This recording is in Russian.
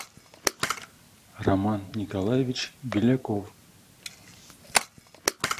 роман николаевич беляков